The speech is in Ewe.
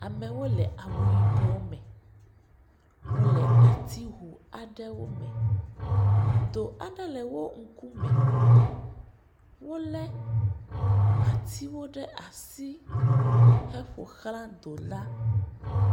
amewo le awu yibɔ mɛ wóle atihowo mɛ dò aɖe le wó ŋkume wòle atiwo ɖe asi he ƒoxlã dò la